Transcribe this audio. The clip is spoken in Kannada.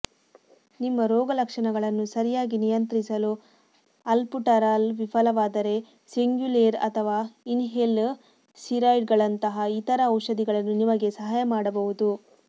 ನಿಮ್ಮ ರೋಗಲಕ್ಷಣಗಳನ್ನು ಸರಿಯಾಗಿ ನಿಯಂತ್ರಿಸಲು ಅಲ್ಬುಟರಾಲ್ ವಿಫಲವಾದರೆ ಸಿಂಗ್ಯುಲೇರ್ ಅಥವಾ ಇನ್ಹೇಲ್ ಸ್ಟೀರಾಯ್ಡ್ಗಳಂತಹ ಇತರ ಔಷಧಿಗಳನ್ನು ನಿಮಗೆ ಸಹಾಯ ಮಾಡಬಹುದು